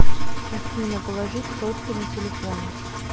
афина положить сотку на телефон